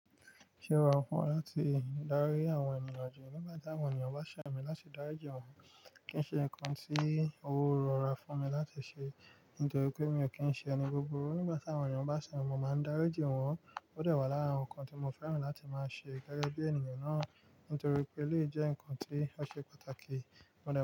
Ṣé wa fún láti darí àwọn ènìyàn? Nígbà tí àwọn ènìyàn bá ṣẹ̀ mí láti darí ìjọ wọn, kí n ṣe nǹkan tí o ro ra fún mi láti ṣe nítorí pé mi ò kí ń ṣe ẹni buburu Nígbà tí àwọn ènìyàn bá ṣẹ̀ mi, mo máa ń daríji wọn. Ó dẹ wá lára nǹkan tí mo fẹ́ràn láti máa ṣe gẹgẹ bí ènìyàn náà nítorí pé elèyi jẹ́ ǹkan tí ó ṣe pàtàkì. Mo dẹ.